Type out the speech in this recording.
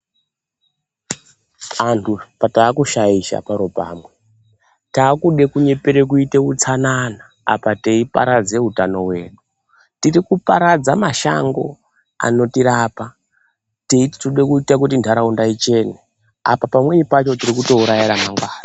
Antu taku shaisha paro pamwe takude kunyepere kuite utsanana apa tei paradze utano hwedu tiri kuparadza mashango anoti rapa teiti tiri kuda kuti ndaraunda ichine apa pamweni pacho tiri kuto uraya hangari.